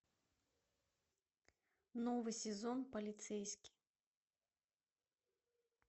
новый сезон полицейский